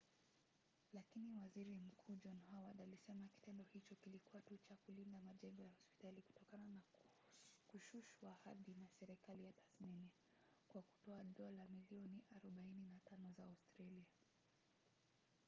lakini waziri mkuu john howard alisema kitendo hicho kilikuwa tu cha kulinda majengo ya hospitali kutokana na kushushwa hadhi na serikali ya tasmania kwa kutoa dola milioni 45 za australia